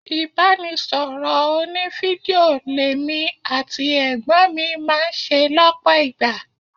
Ibanisoro òní-fídíò l'èmi àti ẹ̀gbọ́n mi máa ń ṣe lọpọ ìgbà.